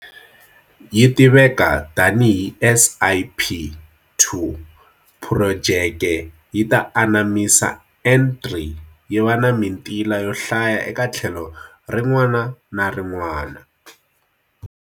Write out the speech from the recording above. Yi tiveka tanihi SIP2. Phurojeke yi ta anamisa N3 yi va na mitila yo hlaya eka tlhelo rin'wana na rin'wana.